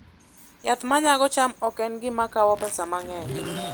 Yath ma nyago cham ok en gima kawo pesa mang'eny